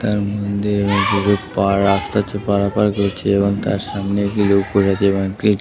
রাস্তা পারাপার করছে এবং তার সামনে ।